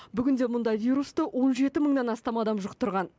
бүгінде мұнда вирусты он жеті мыңнан астам адам жұқтырған